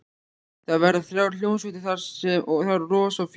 Það verða þrjár hljómsveitir þar og rosa fjör.